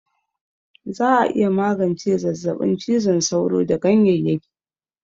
Za'a iya magance zazzaɓin cizon sauro da ganyeyyaki